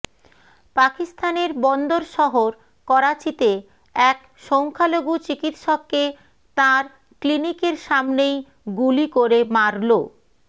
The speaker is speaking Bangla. পাকিস্তানের বন্দর শহর করাচিতে এক সংখ্যালঘু চিকিৎসককে তাঁর ক্লিনিকের সামনেই গুলি করে মারল